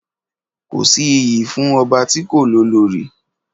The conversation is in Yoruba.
Kọ si ìyí fún ọbà tí kò ní òlórì